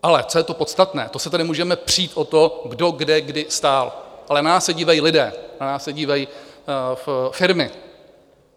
Ale co je to podstatné, to se tady můžeme přít o to, kdo kde kdy stál, ale na nás se dívají lidé, na nás se dívají firmy.